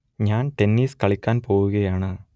ഞാൻ ടെന്നിസ് കളിക്കാൻ പോവുകയാണ്